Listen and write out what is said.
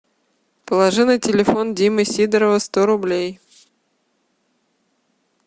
положи на телефон димы сидорова сто рублей